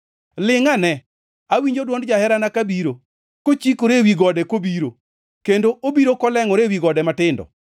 Lingʼane, awinjo dwond jaherana kabiro! Kochikore ewi gode kobiro, kendo obiro kolengʼore ewi gode matindo.